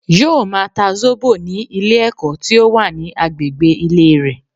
Yóò ma ta Zóbò ní Ilé èkó tí ó wà ní agbègbè Ilé rè